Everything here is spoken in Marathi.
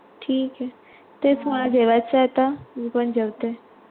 ठिके, तेच मला जेवायचं आता, मी पण जेवते.